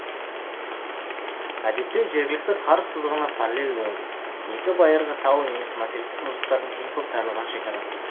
әдетте жергілікті қар сызығына параллель болады екі байырғы тау немесе материктік мұздықтардың ең көп таралған шекарасы